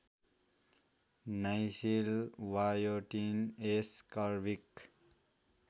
niacin biotin ascorbic